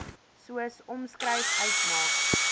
soos omskryf uitmaak